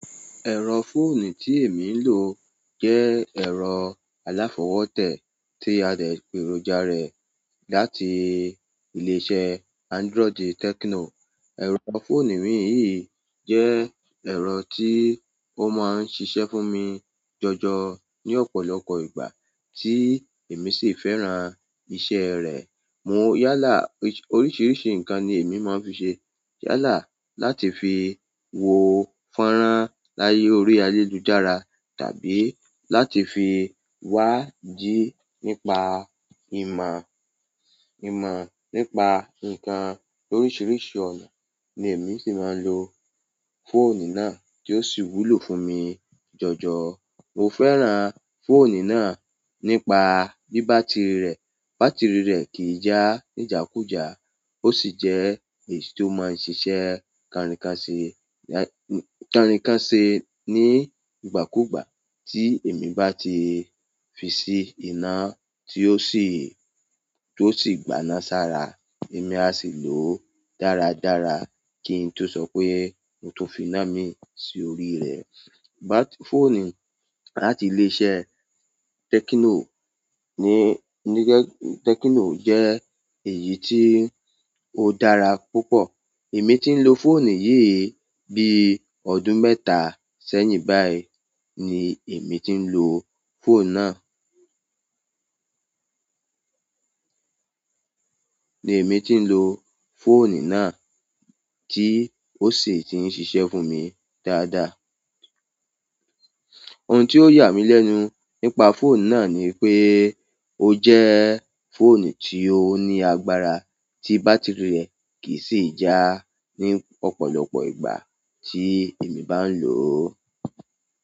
Ẹ̀rọ fóònù tí èmi ń lò jẹ́ ẹ̀rọ aláfọwótè tí a dẹ̀ pèròja rẹ̀ láti ilé iṣẹ́ Android Tecno. Ẹ̀rọ fóònù mi yìí jẹ́ ẹ̀rọ tí ó máa ń ṣiṣẹ́ fún mi jọjọ ní ọ̀pọ̀lọpọ̀ ìgbà tí èmi sì fẹ́ràn iṣẹ́ rẹ̀. Mo yálà oríṣiríṣi nǹkan ni èmi máa ń fi ṣe yálà láti fi wo fọ́nrán láyé orí ayélujára tàbí láti fi wá jí nípa ìmọ̀, ìmọ̀ nípa nǹkan oríṣiríṣi ọ̀nà ni èmi sì máa ń lò fóònù náà tí ó sì wúlò fún mi jọjọ. Mo fẹ́ràn fóònù náà nípa bí bátìrì rẹ̀, bátìrì rẹ̀ kì í já níjàkújà. Ó sì jẹ́ èyí tí ó máa ń ṣiṣẹ́ kanrinkanse, kanrinkanse ní ìgbàkúùgbà tí èmi bá ti fi sí iná tí ó sì gbaná sára, èmi a sì lò ó dáradára kí n tó sọ pé mo tó fi iná mi sí orí rẹ̀. Fóònù láti ilé iṣẹ́ Techno ni, ni Techno jẹ́ èyí tí ó dára púpọ̀. Èmi tí ń lo fóònù yìí bí ọdún mẹ́ta sẹ́yìn báyìí ni èmi tí ń lo fóònù náà. Ni emi tin lo fóònù náà, ti o si n ti n ṣiṣẹ́ fún mi dáadáa. Ohun tí ó yà mí lẹ́nu nípa fóònù náà ni pé ó jẹ́ fóònù tí ó ní agbára tí bátìrì rẹ̀ kì í sì já ní ọ̀pọ̀lọpọ̀ ìgbà tí èmi bá ń lò ó.